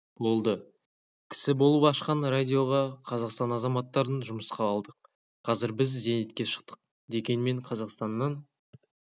болды кісі болып ашқан радиоға қазақстан азаматтарын жұмысқа алдық қазір біз зейнетке шықтық дегенмен қазақстаннан